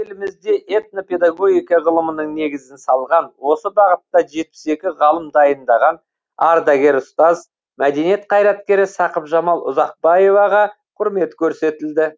елімізде этнопедагогика ғылымының негізін салған осы бағытта жетпіс екі ғалым дайындаған ардагер ұстаз мәдениет қайраткері сақыпжамал ұзақбаеваға құрмет көрсетілді